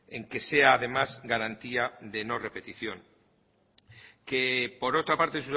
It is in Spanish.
en que sea además garantía de no repetición por otra parte